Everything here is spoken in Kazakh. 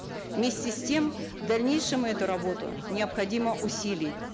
вместе с тем в дальнейшем эту работу необходимо усилить